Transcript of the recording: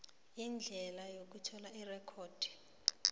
indlela yokuthola irekhodi